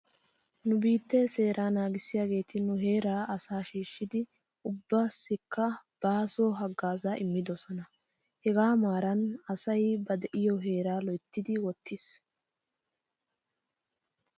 Nu biittee seeraa naagissiyaageeti nu heeraa asaa shiishshidi ubbaassikka baaso hagaazaa immidoosona. Hegaa maaran asay ba de'iyoo heeraa loyitti wottis.